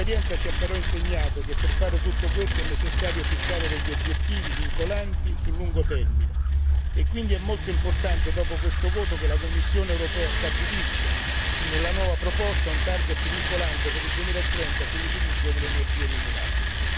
L'esperienza ci ha però insegnato che per fare tutto ciò è necessario fissare obiettivi vincolanti sul lungo termine e quindi è molto importante che, dopo questo voto, la Commissione europea stabilisca nella nuova proposta un obiettivo vincolante per il 2030 sull'utilizzo delle energie rinnovabili.